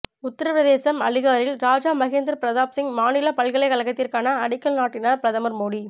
உத்தரபிரதேசம் அலிகாரில் ராஜா மகேந்திர பிரதாப்சிங் மாநில பல்கலைக்கழகத்திற்கான அடிக்கல் நாட்டினார் பிரதமர் மோடி